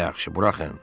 Yaxşı, buraxın.